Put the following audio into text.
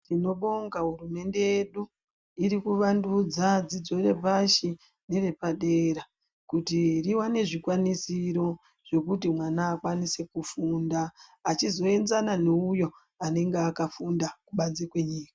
Tinobonga hurumende yedu iri kuvandudza dzidzo yepashi nevepadera kuti riwane zvikwanisiro zvekuti mwana akwanise kufunda echizoenzana neuyo anenge akafunda kubanze kwenyika .